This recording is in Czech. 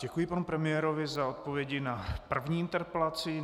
Děkuji panu premiérovi za odpovědi na první interpelaci.